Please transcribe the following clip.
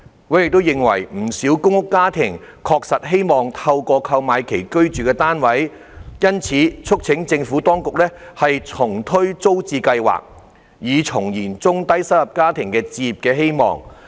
委員認為不少公屋家庭確實希望購買其居住的單位，因此促請當局重推租置計劃，以重燃中低收入家庭的置業希望。